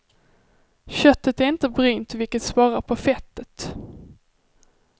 Köttet är inte brynt vilket sparar på fettet.